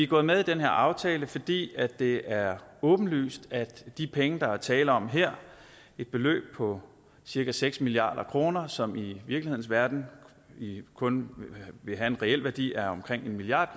gået med i den her aftale fordi det er åbenlyst at de penge der er tale om her et beløb på cirka seks milliard kr som i virkelighedens verden kun vil have en reel værdi af omkring en milliard